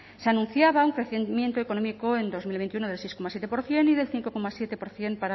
se anunciaba un crecimiento económico en dos mil veintiuno del seis coma siete por ciento y del cinco coma siete por ciento